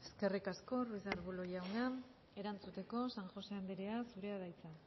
eskerrik asko ruiz de arbulo jauna erantzuteko san josé anderea zurea da hitza